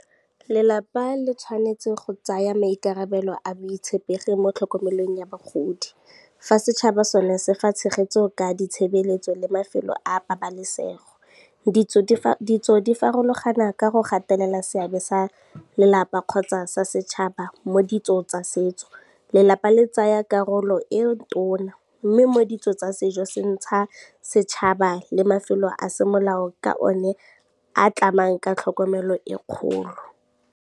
Lelapa le tshwanetse go tsaya maikarabelo a boitshepegi mo tlhokomelong ya bagodi, fa setšhaba sone se fa tshegetso ka ditshebeletso le mafelo a pabalesego. Ditso di farologana ka go gatelela seabe sa lelapa kgotsa sa setšhaba mo ditsong tsa setso, lelapa le tsaya karolo e tona mme mo ditso tsa sejosetšha, setšhaba le mafelo a semolao ka one a tlamang ka tlhokomelo e kgolo.